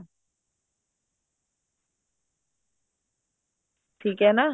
ਠੀਕ ਏ ਨਾ